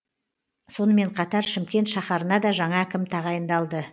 сонымен қатар шымкент шаһарына да жаңа әкім тағайындалды